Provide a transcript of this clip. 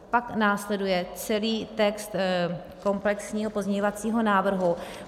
Pak následuje celý text komplexního pozměňovacího návrhu.